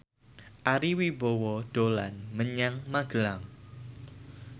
Ari Wibowo dolan menyang Magelang